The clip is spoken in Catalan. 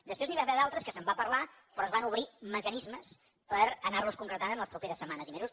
després n’hi va haver d’altres que se’n va parlar però es van obrir mecanismes per anar los concretant en les properes setmanes i mesos